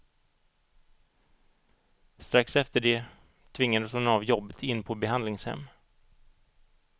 Strax efter det tvingades hon av jobbet in på behandlingshem.